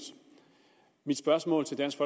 mit spørgsmål til dansk